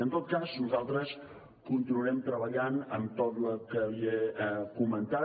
en tot cas nosaltres continuarem treballat en tot el que li he comentat